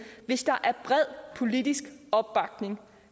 hvis der er bred politisk opbakning